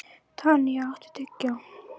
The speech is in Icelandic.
Tanya, áttu tyggjó?